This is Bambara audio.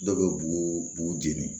Dɔw bɛ bugu bugu jeni